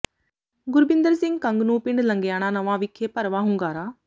ਗੁਰਬਿੰਦਰ ਸਿੰਘ ਕੰਗ ਨੂੰ ਪਿੰਡ ਲੰਗੇਆਣਾ ਨਵਾਂ ਵਿਖੇ ਭਰਵਾਂ ਹੁੰਗਾਰਾ